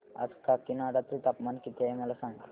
आज काकीनाडा चे तापमान किती आहे मला सांगा